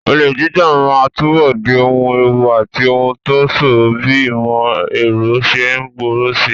Olè jíjà máa túbọ̀ di ohun ewu àti ohun tó ṣòro bí ìmọ̀ ẹ̀rọ ṣe ń gbòòrò síi.